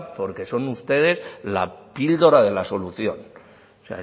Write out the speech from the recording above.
porque son ustedes la píldora de la solución o